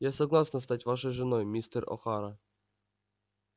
я согласна стать вашей женой мистер охара